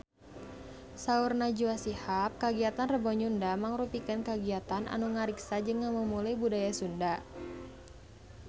Saur Najwa Shihab kagiatan Rebo Nyunda mangrupikeun kagiatan anu ngariksa jeung ngamumule budaya Sunda